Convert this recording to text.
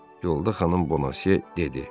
Yolda xanım Bonase dedi.